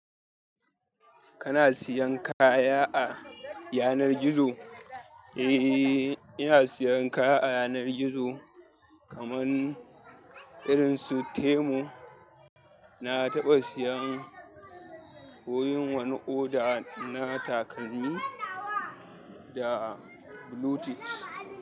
Kana siyan kaya a yanar gizo? Eh ina siyan kaya a yanar gizo kaman irin su Temu. Na taɓa siyan ko yin wani order na takalmi da bluetooth.